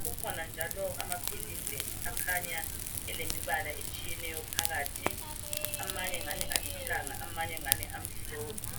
kukhona njalo amaphilisi akhanya elemibala etshiyeneyo phakathi amanye ngani alithanga ,amanye ngani amhlophe.